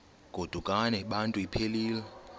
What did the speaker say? godukani bantu iphelil